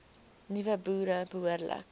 nuwe boere behoorlik